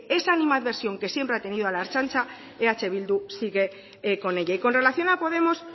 esa animadversión que siempre ha tenido a la ertzaintza eh bildu sigue con ella y con relación a podemos